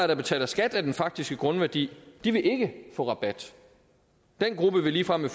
der betaler skat af den faktiske grundværdi vil ikke få rabat den gruppe vil ligefrem med